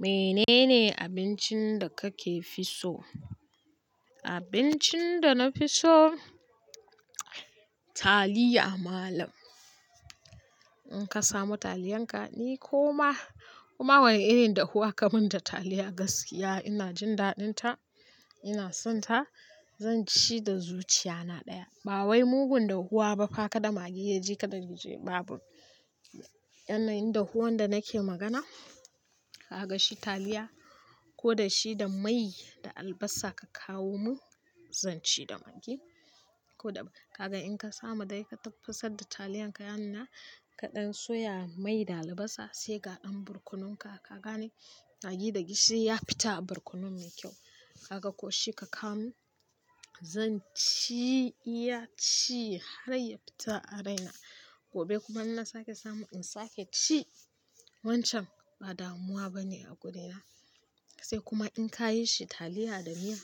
Menene abincin da kake fi so? Abincin da na fi so, taliya malam. In ka samo taliyan ka, ni koma, koma wane irin dahuwa ka min da taliya gaskiya ina jin daɗinta, ina sonta. Zanci da zuciyana ɗaya. Ba wai mugun dahuwa ba fa ka da maggi yaje ka da gishiri babu. Yanayin dahuwan da nake magana, ka ga shi taliya ko da shi da mai da albasa ka kawo mun, zanci da maggi ko da ba. Kaga in ka samu dai ka tafasar da taliyan ka yanuna, kaɗan soya mai da albasa sai ga ɗan borkonon ka. Ka gane maggi da gishiri ya fita a borkonon me kyau. Kaga ko shi ka kawo mun, zanci iya ci har ya fita a raina. Gobe kuma in na sake samu in sake ci. Wancan ba damuwa bane a gurina. Sai kuma in ka yi shi taliya da miya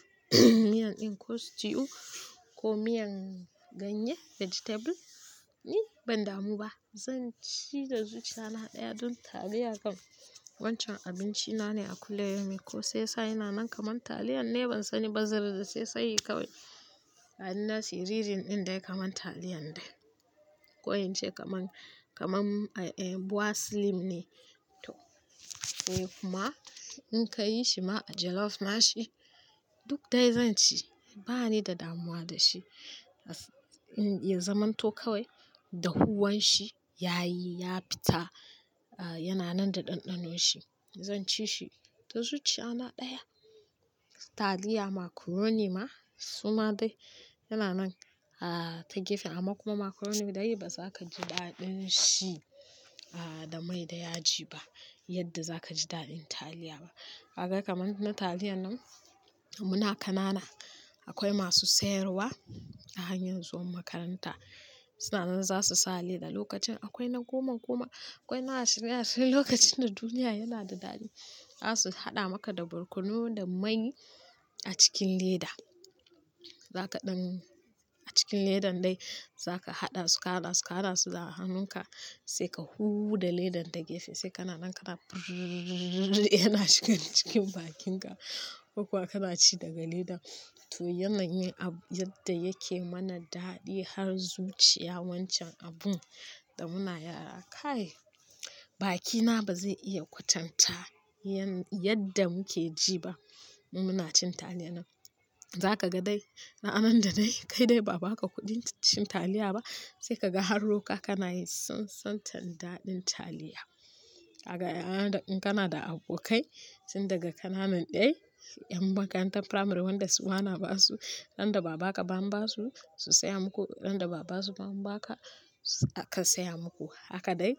miyan ɗin ko stew ko miyan ganye, vegetable, ni ban damu ba. Zanci da zuciyana ɗaya don taliya kam wancan abinci na ne a kulli yaumin ko sai ya sa yana nan kaman taliyan ne ban sani ba. Zai zai sai kawai. A ina siririn ɗin dai kaman taliyan dai. Ko in kaman, kaman, eh, bua slim ne. To, eh kuma in ka yi shi ma a jollof ma shi, duk dai zan ci. Ba ni da damuwa da shi. In ya zamanto kawai, dahuwan shi ya yi, ya fita, yana nan da ɗanɗanon shi. Zanci shi da zuciyana ɗaya. Taliya macaroni ma suma dai yana nan a ta gefe amma kuma macaroni dai ba za ka ji daɗin shi a da mai da yaji ba yadda za ka ji daɗin taliya ba. Kaga kaman na taliyan nan muna kanana, akwai masu sayarwa a hanyar zuwan makaranta. Suna nan za su sa leda lokacin akwai na goma goma, akwai na ashirin ashirin lokacin da duniya yana da daɗi. Za su haɗa maka da birkunu da mai a cikin leda. Za kaɗan a cikin ledan dai za ka haɗa su, ka haɗa su, ka haɗa su da hannunka sai ka hu da ledan ta gefe sai kana nan kana yana shigan cikin bakin ka. Ko kuwa kana ci daga leda. To yanayin abu yadda yake mana daɗi har zuciya wancan abun da muna yara. Kai bakina ba zai iya kwatanta yan-- yadda muke ji ba in muna cin taliyan nan. Za ka ga dai, ranar da dai kai dai ba baka kuɗin cin taliya ba, sai ka ga har roƙa kana yin tsan tsan tar daɗin taliya. Kaga in kana da abokai tun daga kananan ɗai, ƴan makarantar firamare wanda su bana basu, ran da ba baka ban ba su, su saya muku, ran da ba basu ban baka, ka saya muku. Haka dai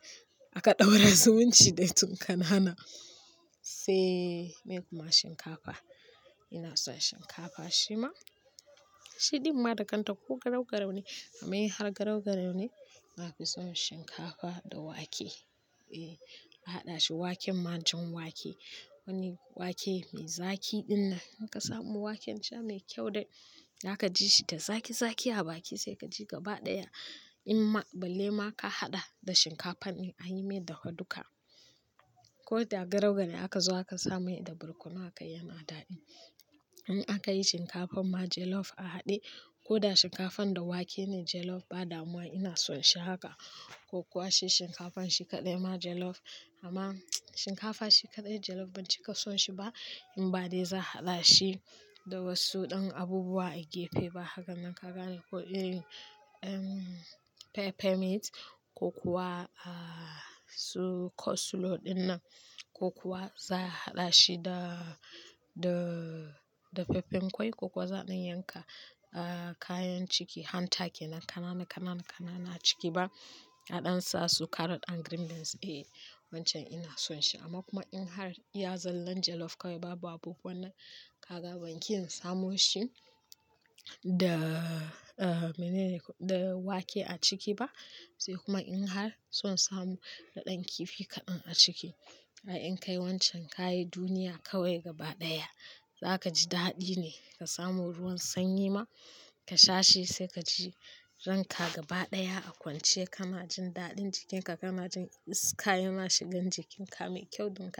aka ɗaura zu munci dai tun kanana. Se me kuma shinkafa. Ina son shinkafa shi ma. Shi ɗin ma dakanta ko garau garau ne amma in har garau garau ne, naga son shinkafa da wake. Eh, a haɗa shi waken ma jan wake. Wani wake mai zaki ɗin nan. In ka samu waken shima mai kyau dai, za ka ji shi da zaki zaki a baki sai ka ji gaba ɗaya. In ma balle ma ka haɗa da shinkafan in an yi mai dafaduka. Ko dai garau garau aka zo aka sa mai da barkono akai yana da daɗi. In aka yi shinkafan ma jollof a haɗe ko da shinkafan da wake ne jollof ba damuwa ina son shi haka. Ko kuwa shi shinkafan shi kaɗai ma jollof. Amma shinkafa shi kaɗai jollof ban cika son shi ba in ba dai za a haɗa shi da wasu ɗan abubuwa a gefe ba. Haka nan ka gane ko iri em, pepper meat ko kuwa a su kosulo ɗin nan ko kuwa za a haɗa shi da dafaffen kwai ko kuwa zaa yanka a kayan ciki hata take nan kananana kananana ciki ba a ɗan sa su carrot and green beans. Eh, wancan ina son shi amma kuma in har i ya zallan jollof kawai babu abu wannan, ka ga ban ki yin samo shi da a menene da wake a ciki ba sai kuma in har son samu daɗin kifi kaɗan a ciki. Ai in kai wancan ka yi duniya kawai gaba ɗaya. Za ka ji daɗi ne. Ka samu ruwan sanyi ma ka sha shi sai ka ji ranka gaba ɗaya a kwance kana jin daɗin jikinka kana jin iska yana shigan jikinka mai kyau donka.